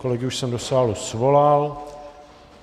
Kolegy už jsem do sálu svolal.